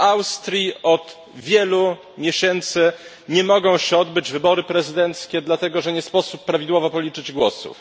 W Austrii od wielu miesięcy nie mogą się odbyć wybory prezydenckie dlatego, że nie sposób prawidłowo policzyć głosów.